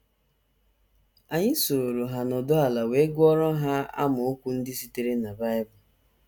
Anyị sooro ha nọdụ ala wee gụọrọ ha amaokwu ndị sitere na Bible.